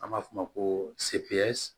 An b'a f'o ma ko